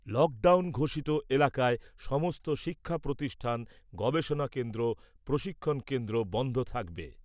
Lockdown ঘোষিত এলাকায় সমস্ত শিক্ষা প্রতিষ্ঠান , গবেষণা কেন্দ্র , প্রশিক্ষণ কেন্দ্র বন্ধ থাকবে ।